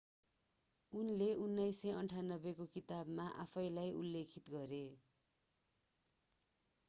उनले 1998 को किताबमा आफैंलाई उल्लेखित गरे